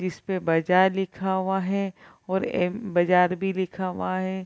जिस पे बाजार लिखा हुआ है और एम बाजार भी लिखा हुआ है।